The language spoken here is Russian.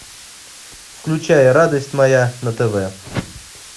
включай радость моя на тв